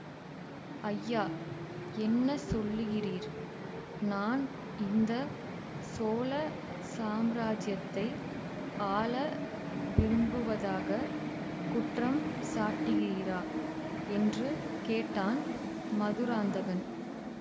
ஐயா என்ன சொல்லுகிறீர் நான் இந்த சோழ சாம்ராஜ்யத்தை ஆள விரும்புவதாக குற்றம் சாட்டுகிறீரா என்று கேட்டான் மதுராந்தகன்